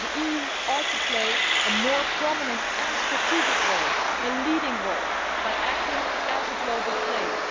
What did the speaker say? The EU ought to play a more prominent and strategic role, a leading role, by acting as a global player.